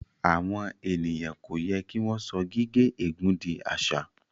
Àwon ènìyàn kò yẹ kí wọn so gigé ègún dì àṣà